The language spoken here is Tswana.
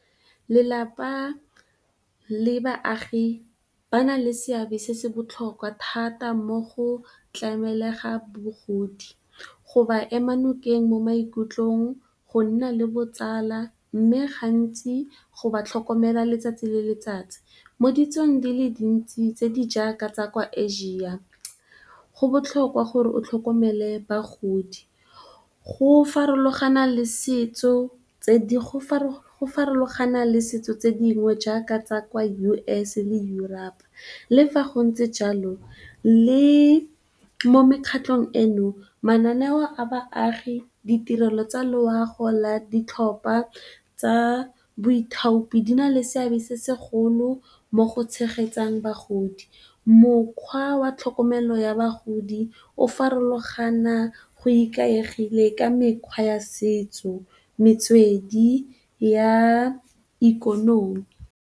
Lelapa le baagi ba na le seabe se se botlhokwa thata mo go tlameleng ga bagodi, go ba ema nokeng mo maikutlong, go nna le botsala mme, gantsi go ba tlhokomela letsatsi le letsatsi. Mo ditsong di le dintsi tse di jaaka tsa kwa Asia go botlhokwa gore o tlhokomele bagodi, go farologana le ditso tse dingwe jaaka tsa kwa USA le Europe le fa go ntse jalo, le mo mekgatlhong eno mananeo a baagi, ditirelo tsa loago la ditlhopha tsa boithaopi di na le seabe se segolo mo go tshegetseng bagodi mokgwa wa tlhokomelo ya bagodi o farologane go ikaegile ka mekgwa ya setso, metswedi ya ikonomi.